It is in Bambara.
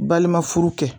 Balima furu kɛ